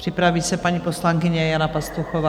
Připraví se paní poslankyně Jana Pastuchová.